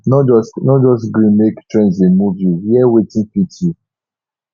no just no just gree make trends dey move you wear wetin fit you